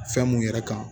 Fɛn mun yɛrɛ kan